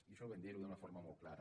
i això ho vam dir d’una forma molt clara